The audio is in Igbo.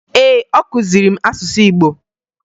Ee, ọ kụziri m asụsụ Igbo